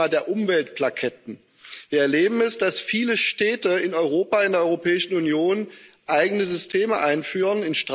Das ist das Thema der Umweltplaketten. Wir erleben, dass viele Städte in Europa, in der Europäischen Union eigene Systeme einführen.